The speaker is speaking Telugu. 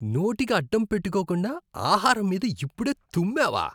నోటికి అడ్డం పెట్టుకోకుండా ఆహారం మీద ఇప్పుడే తుమ్మావా?